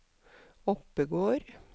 Oppegård